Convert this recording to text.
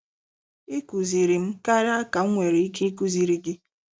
I kụziri m karịa ka m nwere ike ikụziri gị! '